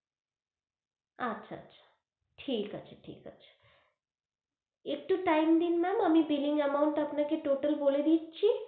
আচ্ছা আচ্ছা, ঠিক আছে ঠিক আছে একটু time দিন ma'am আমি biling amount টা, আপনাকে টোটাল বলে দিচ্ছি